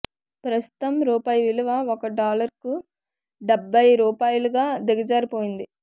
ప్రస్తుతం రూపాయి విలువ ఒక డాలర్కు డ్బ్బై రూపాయలుగా దిగజారిపోయింది